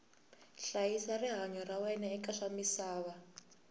hlayisa rihanyu ra wena eka swamisava